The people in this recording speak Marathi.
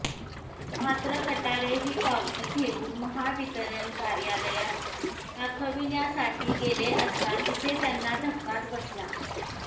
मात्र कटारे ही पावती घेऊन महावितरण कार्यालयात दाखविण्यासाठी गेले असता तिथे त्यांना धक्काच बसला